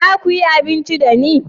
za ku yi abinci da ni?